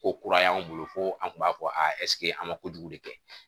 Ko kura y'an bolo ko an tun b'a fɔ a an ma kojugu de kɛ